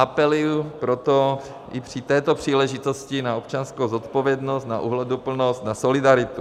Apeluji proto i při této příležitosti na občanskou zodpovědnost, na ohleduplnost, na solidaritu.